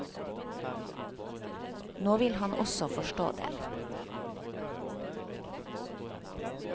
Nå vil han også forstå den.